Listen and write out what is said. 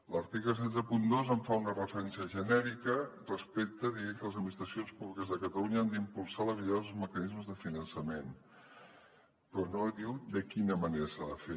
l’article cent i seixanta dos hi fa una referència genèrica dient que les administracions públiques de catalunya han d’impulsar la millora dels mecanismes de finançament però no diu de quina manera s’ha de fer